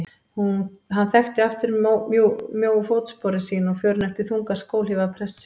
Hann þekkti aftur mjóu fótsporin sín og förin eftir þungar skóhlífar prestsins.